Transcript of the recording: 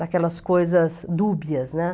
Daquelas coisas dúbias, né?